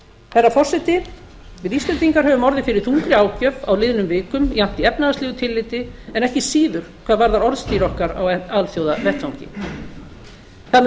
herra forseti við íslendingar höfum orðið fyrir þungri ágjöf á liðnum vikum jafnt í efnahagslega tilliti en ekki síður hvað varðar orðstír okkar á alþjóðavettvangi það mun